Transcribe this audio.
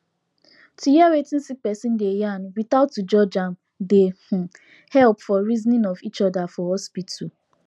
to hear wetin sick persin dey yarn without to judge am dey um helep for reasoning of each other for hospital